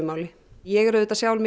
máli ég er sjálf